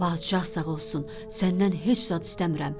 Padişah sağ olsun, səndən heç zad istəmirəm.